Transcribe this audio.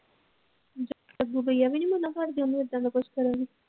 ਅੱਗੋ ਭਇਆ ਵੀ ਮੰਨਦਾ ਘਰ ਦਇਆ ਨੂੰ ਐਦਾਂ ਕੁਝ ਕਰਨ ਨੂੰ।